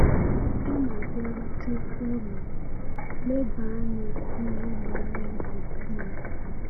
Mgbe ị na-abịarute ụlọ, leba anya n’ihe gbara ya gburugburu.